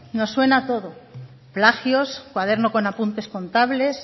nos suena todo plagios cuadernos con apuntes contables